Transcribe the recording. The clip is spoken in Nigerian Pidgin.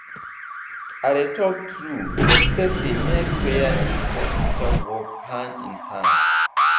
i dey talk true respect dey make prayer and hospital work hand in hand.